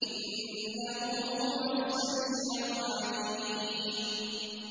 إِنَّهُ هُوَ السَّمِيعُ الْعَلِيمُ